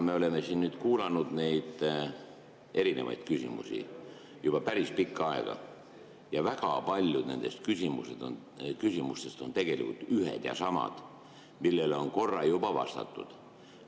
Me oleme siin nüüd kuulanud neid erinevaid küsimusi juba päris pikka aega ja väga paljud nendest küsimustest on tegelikult ühed ja samad, millele on korra juba vastatud.